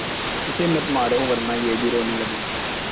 इसे मत मारो वरना यह भी रोने लगेगा